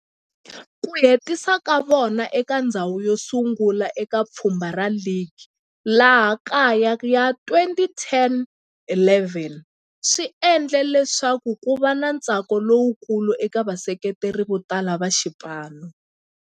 Ku hetisa ka vona eka ndzhawu yosungula eka pfhumba ra ligi ya laha kaya ya 2010-11 swi endle leswaku kuva na ntsako lowukulu eka vaseketeri votala va xipano.